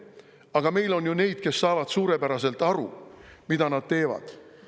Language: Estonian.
Aga meil on neid, kes saavad suurepäraselt aru, mida nad teevad.